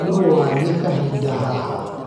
Nũ wathie kahinda haha?